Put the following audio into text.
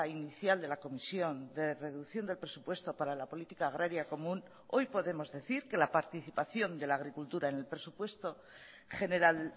inicial de la comisión de reducción del presupuesto para la política agraria común hoy podemos decir que la participación de la agricultura en el presupuesto general